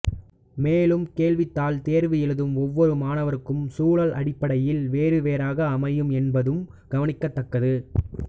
மேலும் கேள்வித்தாள் தேர்வு எழுதும் ஒவ்வொரு மாணவருக்கும் சுழல் அடிப்படையில் வேறுவேறாக அமையும் என்பதும் கவனிக்கத்தக்கது